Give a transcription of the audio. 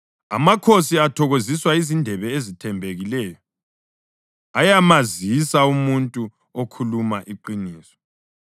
Amakhosi athokoziswa yizindebe ezithembekileyo; ayamazisa umuntu okhuluma iqiniso.